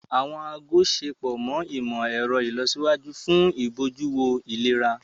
Awọn aago ṣepọ imọ-ẹrọ ìlọsíwájú fún ibojuwo ìlera.